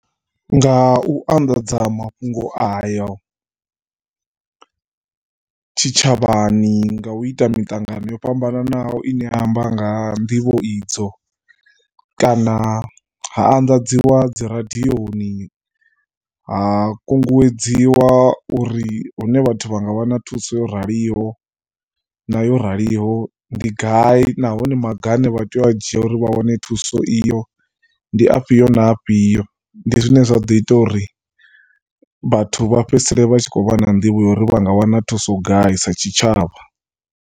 Nga u anḓadza mafhungo ayo tshitshavhani, nga u ita miṱangano yo fhambanaho i ne ya amba nga ha nḓivho idzo kana ha andadziwa dzi radioni, ha kunguwedziwa uri hune vhathu vha nga wana thuso yo raliho na yo raliho ndi gai nahone maga a ne vha tea u a dzhia uri vha wane thuso iyo ndi afhio na afhio. Ndi zwine zwa ḓo ita uri vhathu vha fhedzisele vha tshi khou vha na nḓivho ya uri vha nga wana thuso gai sa tshitshavha.